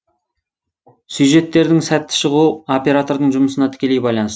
сюжеттердің сәтті шығуы оператордың жұмысына тікелей